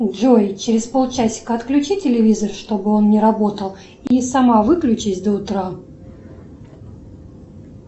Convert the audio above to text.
джой через пол часика отключи телевизор чтобы он не работал и сама выключись до утра